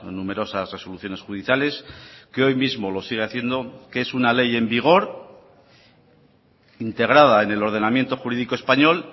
numerosas resoluciones judiciales que hoy mismo lo sigue haciendo que es una ley en vigor integrada en el ordenamiento jurídico español